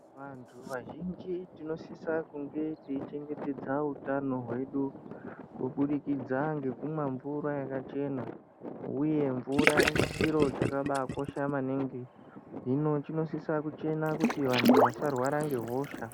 Vantu vazhinji tinosisa kunge teichengetedza utano hwedu kubudikidza ngekumwa mvura yakachena uye mvura chiro chakabaa kosha maningi hino chinosisa kuchena kuti vantu vasarwara ngehosha.